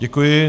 Děkuji.